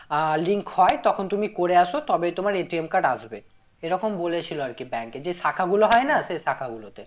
আহ link হয়ে তখন তুমি করে আসো তবেই তোমার card আসবে। এরকম বলেছিলো আর কি bank এ যে শাখাগুলো হয় না সেই শাখাগুলোতে